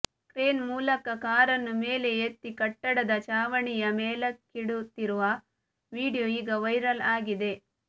crane ಮೂಲಕ ಕಾರನ್ನು ಮೇಲೆ ಎತ್ತಿ ಕಟ್ಟಡದ ಚಾವಣಿಯ ಮೇಲಕ್ಕಿಡುತ್ತಿರುವ ವಿಡಿಯೋ ಈಗ ವೈರಲ್ ಆಗಿದೆ